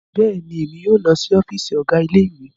Bẹẹni, Emi yoo lọ si ọfiisi Ọgá Ilé-ìwé